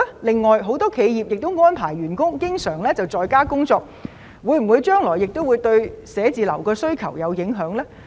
此外，很多企業經常安排員工在家工作，會否影響將來對寫字樓的需求呢？